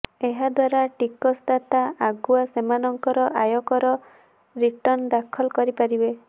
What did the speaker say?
ଏହାଦ୍ୱାରା ଟିକସଦାତା ଆଗୁଆ ସେମାନଙ୍କର ଆୟକର ରିଟର୍ଣ୍ଣ ଦାଖଲ କରିପାରିବେ